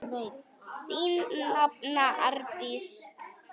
Þín nafna, Arndís.